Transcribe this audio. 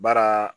Baara